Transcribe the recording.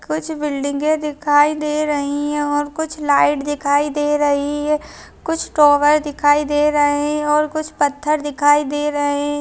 कुछ बिल्डिंगे दिखाई दे रही है और कुछ लाइट दिखाई दे रही है कुछ टावर दिखाई दे रहें हैं और कुछ पत्थर दिखाई दे रहें हैं।